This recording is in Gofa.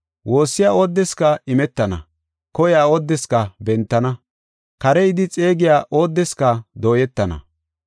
Woossiya oodeska imetana, koyiya oodeska bentana, kare yidi xeegiya oodeska dooyetenna.